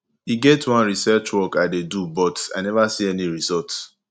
e get one research work i dey do but i never see any result